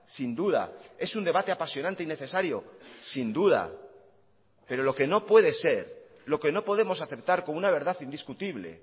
sin duda es un debate apasionante y necesario sin duda pero lo que no puede ser lo que no podemos aceptar como una verdad indiscutible